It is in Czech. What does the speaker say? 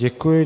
Děkuji.